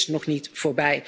Het is nog niet voorbij.